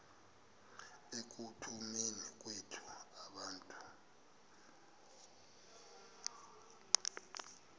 ekutuneni kwethu abantu